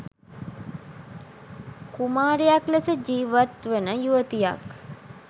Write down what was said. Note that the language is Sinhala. කුමාරියක් ලෙස ජිවත් වන යුවතියක්